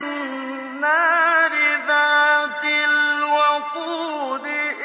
النَّارِ ذَاتِ الْوَقُودِ